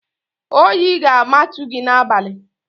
Oyi ga-amatu gị n'abalị!